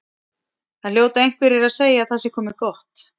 Það hljóta einhverjir að segja að það sé komið gott.